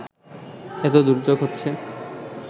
এতো দুর্যোগ হচ্ছে